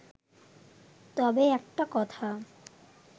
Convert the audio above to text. তবে একটা কথা